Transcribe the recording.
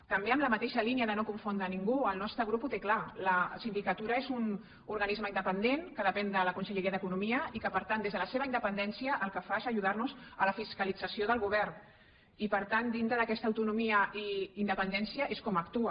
també en la mateixa línia de no confondre ningú el nostre grup ho té clar la sindicatura és un organisme independent que depèn de la conselleria d’economia i que per tant des de la seva independència el que fa és ajudarnos a la fiscalització del govern i per tant dintre d’aquesta autonomia i independència és com actua